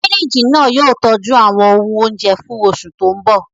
Fíríjì náà yóò tọ́jú àwọn ohun oúnjẹ fún oṣù tí ń bọ̀